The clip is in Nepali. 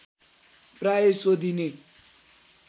प्राय सोधिने